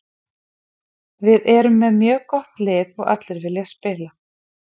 Við erum með mjög gott lið og allir vilja spila.